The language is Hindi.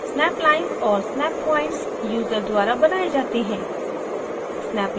snap lines और snap points यूज़र द्वारा बनाये जाते हैं